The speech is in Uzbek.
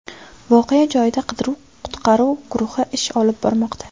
Voqea joyida qidiruv-qutqaruv guruhi ish olib bormoqda.